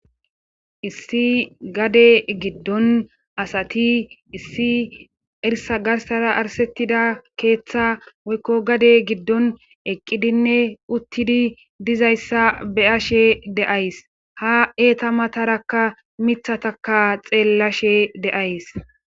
Issi gade giddon asati issi irsa garsara arsettida keeththa woykko gade giddon eqqidinne uttidi dizayssa beyashe deays ha eeta matarakka mithataka xeellashe de'ays.